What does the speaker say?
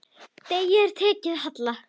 Degi er tekið að halla.